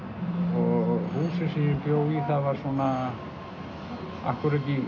og húsið sem ég bjó í það var svona akkúrat í